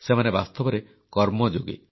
ସେମାନେ ବାସ୍ତବରେ କର୍ମଯୋଗୀ